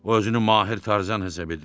O özünü mahir tarzan hesab edir.